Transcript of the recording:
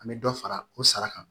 An bɛ dɔ fara o sara kan